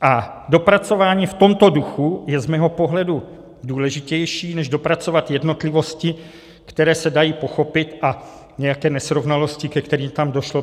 A dopracování v tomto duchu je z mého pohledu důležitější než dopracovat jednotlivosti, které se dají pochopit, a nějaké nesrovnalosti, ke kterým tam došlo.